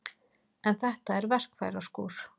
En þetta er verkfæraskúr.